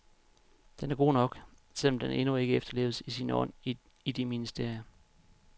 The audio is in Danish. Den er god nok, selv om den endnu ikke efterleves i sin ånd i de ministerier.